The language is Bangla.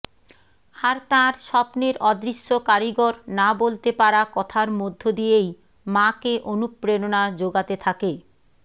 আর তাঁর স্বপ্নের অদৃশ্য কারিগর না বলতে পারা কথার মধ্য দিয়েই মাকে অনুপ্রেরণা জোগাতে থাকে